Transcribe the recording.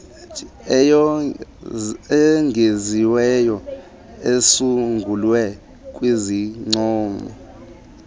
eyongeziweyo esungulwe kwizincomo